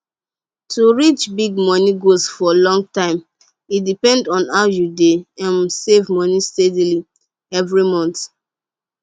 to reach big money goals for long time e depend on how you dey um save moni steady every month